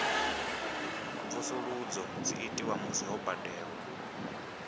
mvusuludzo dzi itwa musi ho badelwa